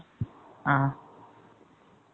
ஆ